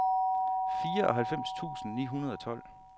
fireoghalvfems tusind ni hundrede og tolv